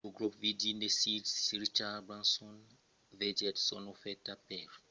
lo grop virgin de sir richard branson vegèt son ofèrta per la banca rebutada abans la nacionalizacion de la banca